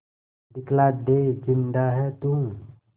दिखला दे जिंदा है तू